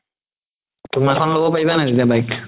তুমাৰখন ল'ব পাৰিবা নে নাই তেতিয়া bike